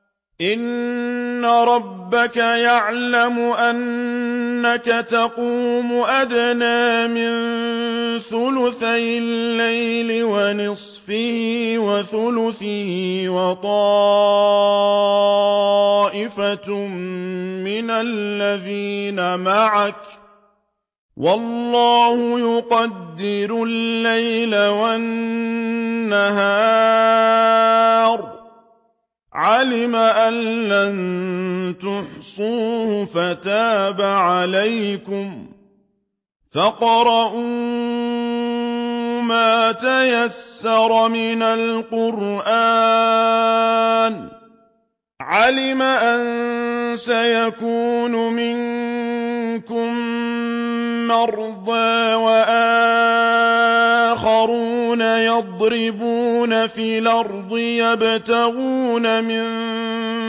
۞ إِنَّ رَبَّكَ يَعْلَمُ أَنَّكَ تَقُومُ أَدْنَىٰ مِن ثُلُثَيِ اللَّيْلِ وَنِصْفَهُ وَثُلُثَهُ وَطَائِفَةٌ مِّنَ الَّذِينَ مَعَكَ ۚ وَاللَّهُ يُقَدِّرُ اللَّيْلَ وَالنَّهَارَ ۚ عَلِمَ أَن لَّن تُحْصُوهُ فَتَابَ عَلَيْكُمْ ۖ فَاقْرَءُوا مَا تَيَسَّرَ مِنَ الْقُرْآنِ ۚ عَلِمَ أَن سَيَكُونُ مِنكُم مَّرْضَىٰ ۙ وَآخَرُونَ يَضْرِبُونَ فِي الْأَرْضِ يَبْتَغُونَ مِن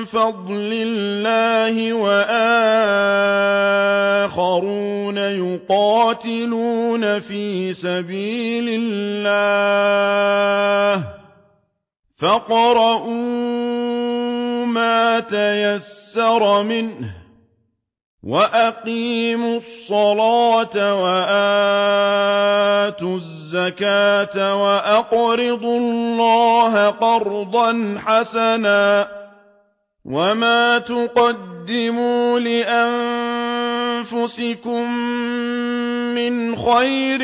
فَضْلِ اللَّهِ ۙ وَآخَرُونَ يُقَاتِلُونَ فِي سَبِيلِ اللَّهِ ۖ فَاقْرَءُوا مَا تَيَسَّرَ مِنْهُ ۚ وَأَقِيمُوا الصَّلَاةَ وَآتُوا الزَّكَاةَ وَأَقْرِضُوا اللَّهَ قَرْضًا حَسَنًا ۚ وَمَا تُقَدِّمُوا لِأَنفُسِكُم مِّنْ خَيْرٍ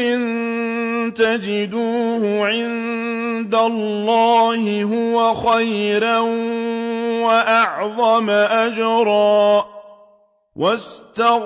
تَجِدُوهُ عِندَ اللَّهِ هُوَ خَيْرًا وَأَعْظَمَ أَجْرًا ۚ وَاسْتَغْفِرُوا اللَّهَ ۖ إِنَّ اللَّهَ غَفُورٌ رَّحِيمٌ